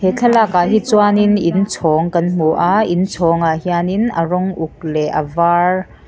he thlakak ah hi chuan in inchhawng kan hmu a inchhawng ah hian in a rawng uk leh a var--